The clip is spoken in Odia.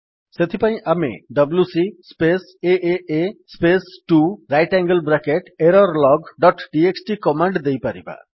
ସେଥିପାଇଁ ଆମେ WC space AA space 2 right angle bracket error log dot TXT command ଦେଇପାରିବା